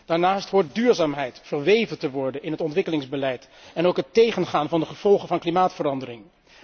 Daarnaast hoort duurzaamheid verweven te worden in het ontwikkelingsbeleid, ook het tegengaan van de gevolgen van klimaatverandering.